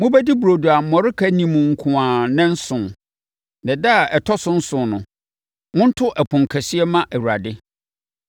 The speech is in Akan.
Mobɛdi burodo a mmɔreka nni mu nko ara nnanson. Na ɛda a ɛtɔ so nson no, monto ɛpono kɛseɛ mma Awurade.